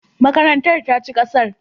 Makarantar ta ci gasar.